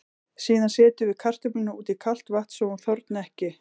Síðan setjum við kartöfluna út í kalt vatn svo hún þorni ekki.